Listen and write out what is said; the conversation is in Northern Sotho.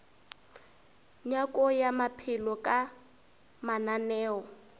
nyako ya maphelo ka mananeo